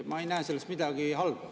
Ma ei näe selles midagi halba.